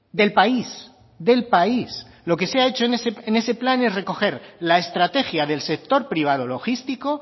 del país del país lo que se ha hecho en ese plan es recoger la estrategia del sector privado logístico